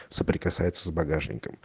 соприкасается с багажником